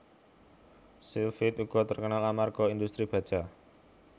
Sheffield uga terkenal amarga industri baja